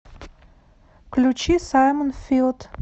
включи саймон филд